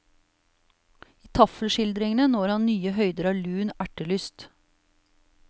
I taffelskildringene når han nye høyder av lun ertelyst.